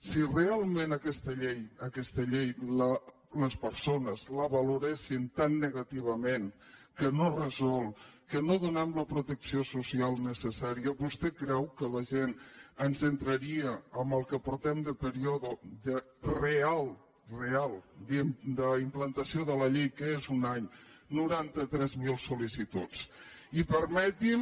si realment aquesta llei les persones la valoressin tan negativament que no resol que no donem la protecció social necessà·ria vostè creu que la gent ens entraria en el que portem de període real real d’implantació de la llei que és un any noranta tres mil sol·licituds i perme·ti’m